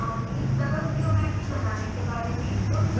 सरल geometry बनाने के बारे में